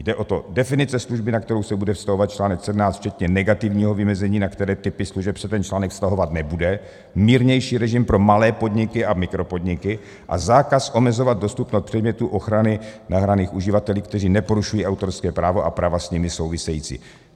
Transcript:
Jde o to - definice služby, na kterou se bude vztahovat článek 17 včetně negativního vymezení, na které typy služeb se ten článek vztahovat nebude, mírnější režim pro malé podniky a mikropodniky a zákaz omezovat dostupnost předmětů ochrany nahraných uživateli, kteří neporušují autorské právo a práva s nimi související.